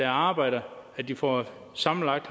arbejder de får sammenlagt